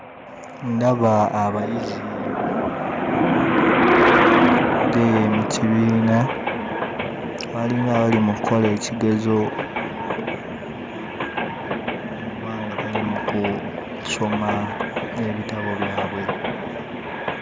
Ndaba abayizi abatudde mu kibiina balinga abali mu kkola ekigezo oba nga bali mu kusoma ebitabo byabwe.